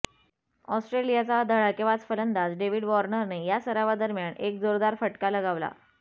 ऑस्ट्रेलियाचा धडाकेबाज फलंदाज डेव्हिड वार्नरने या सरावादरम्यान एक जोरदार फटका लगावला